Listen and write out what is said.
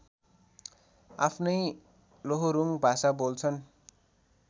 आफ्नै लोहोरुङ भाषा बोल्छन्